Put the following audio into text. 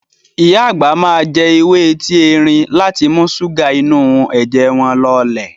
Ìyá àgbà máa jẹ ewé etí erin láti mú ṣúgà inú ẹ̀jẹ̀ wọn lọlẹ̀.